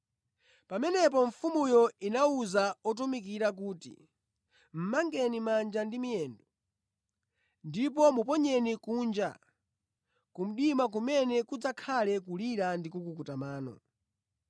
“Pamenepo mfumuyo inawuza otumikira kuti, ‘Mʼmangeni manja ndi miyendo, ndipo muponyeni kunja, ku mdima kumene kudzakhale kulira ndi kukuta mano.’